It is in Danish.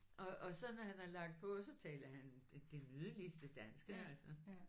Og og så når han har lagt på så taler han det nydeligste danske altså